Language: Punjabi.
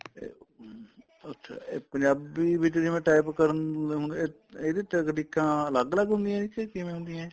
ਤੇ ਉਮ ਤੇ ਅੱਛਾ ਇਹ ਪੰਜਾਬੀ ਵਿੱਚ ਜਿਵੇਂ type ਕਰਨ ਦੇ ਹੁਣ ਇਹ ਇਹਦੇ ਚ ਅੜੀਕਾ ਅਲੱਗ ਅਲੱਗ ਹੁੰਦੀਆਂ ਕੇ ਕਿਵੇਂ ਹੁੰਦੀਆਂ